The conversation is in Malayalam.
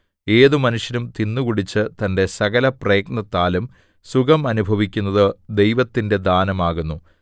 ഏതു മനുഷ്യനും തിന്നുകുടിച്ച് തന്റെ സകലപ്രയത്നത്താലും സുഖം അനുഭവിക്കുന്നത് ദൈവത്തിന്റെ ദാനം ആകുന്നു